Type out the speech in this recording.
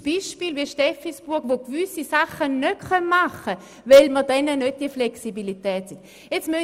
Aber es gibt Gemeinden, die gewisse Sachen nicht machen können wie zum Beispiel die Gemeinde Steffisburg, weil sie diese Flexibilität nicht haben.